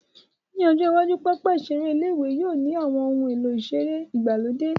Ní ọjọ́ iwájú, pápá ìseré ilé-ìwé yóò ní àwọn ohun èlò ìseré ìgbàlódé